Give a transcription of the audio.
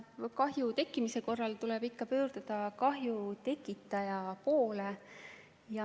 Kahju tekkimise korral tuleb pöörduda kahju tekitaja poole.